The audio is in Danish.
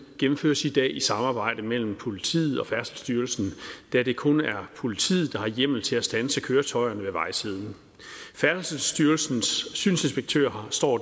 gennemføres i dag i samarbejde mellem politiet og færdselsstyrelsen da det kun er politiet der har hjemmel til at standse køretøjerne ved vejsiden færdselsstyrelsens synsinspektører står